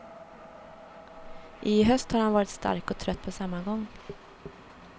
I höst har han varit stark och trött på samma gång.